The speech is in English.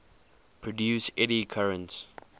produce eddy currents